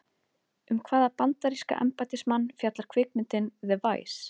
Um hvaða bandaríska embættismann fjallar kvikmyndin The Vice?